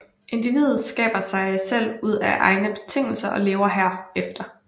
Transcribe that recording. Individet skaber sig selv ud af egne betingelser og lever herefter